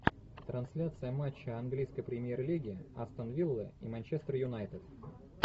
трансляция матча английской премьер лиги астон вилла и манчестер юнайтед